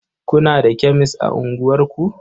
Kuna da kemes a unguwarku?